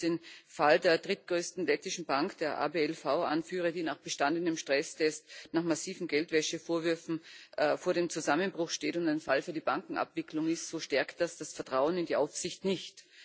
Wenn ich jetzt den Fall der drittgrößten lettischen Bank, der ABLV, anführe, die nach bestandenem Stresstest nach massiven Geldwäschevorwürfen vor dem Zusammenbruch steht und ein Fall für die Bankenabwicklung ist, so stärkt das das Vertrauen in die Aufsicht nicht.